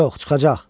Yox, çıxacaq,